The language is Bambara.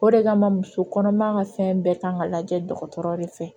O de kama muso kɔnɔma ka fɛn bɛɛ kan ka lajɛ dɔgɔtɔrɔ de fɛ